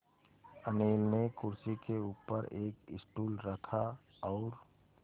अनिल ने कुर्सी के ऊपर एक स्टूल रखा और